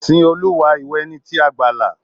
Sìn Olúwa, ìwọ ẹni tí a gbàlà.